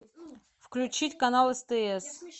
включить канал стс